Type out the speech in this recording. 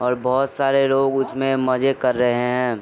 और बहोत सारे लोग उसमें मजे कर रहे हैं।